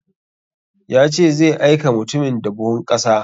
Ya ce zai aika mutumin da buhun ƙasa